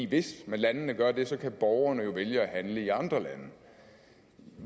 hvis landene gør det så kan borgerne jo vælge at handle i andre lande